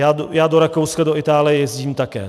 Já do Rakouska a Itálie jezdím také.